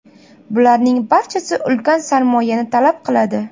Bularning barchasi ulkan sarmoyani talab qiladi.